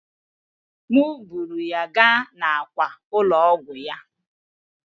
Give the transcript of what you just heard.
M buuru ya gaa n'àkwà ụlọ ọgwụ ya.